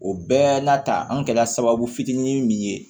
O bɛɛ n'a ta an kɛra sababu fitinin min ye